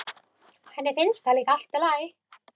Henni finnst það líka allt í lagi.